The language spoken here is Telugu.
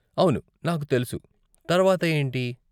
అవును, నాకు తెలుసు, తర్వాత ఏంటి?